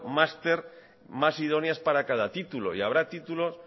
másters más idóneas para cada título y habrá títulos